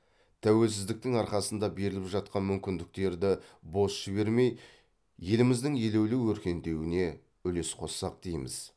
тәуелсіздіктің арқасында беріліп жатқан мүмкіндіктерді бос жібермей еліміздің елеулі өркендеуіне үлес қоссақ дейміз